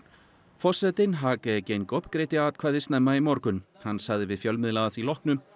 forsetinn Hage Geingob greiddi atkvæði snemma í morgun hann sagði við fjölmiðla að því loknu